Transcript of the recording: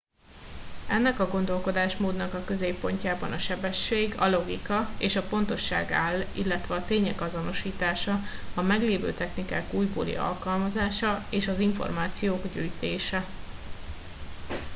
ennek a gondolkodásmódnak a középpontjában a sebesség a logika és a pontosság áll illetve a tények azonosítása a meglévő technikák újbóli alkalmazása és az információk gyűjtése